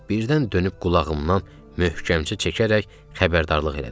Birdən dönüb qulağımdan möhkəmcə çəkərək xəbərdarlıq elədi.